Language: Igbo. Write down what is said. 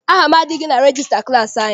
Aha m adịghị na regista klassi anyị.